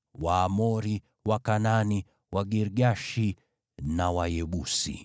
Waamori, Wakanaani, Wagirgashi na Wayebusi.”